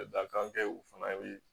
Dakan tɛ u fana bɛ